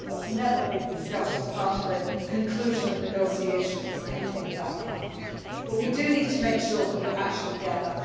That has never been discussed as part of a conclusion of negotiations nothing of that kind but we do need to make sure that we actually get that.